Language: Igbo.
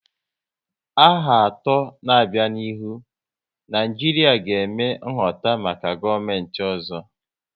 N'aha atọ n'abia n'ihu, Naijiria ga eme nhoputa maka gọọmenti ọzọ